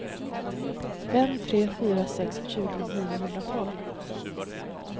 fem tre fyra sex tjugo niohundratolv